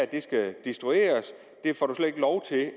det skal destrueres man får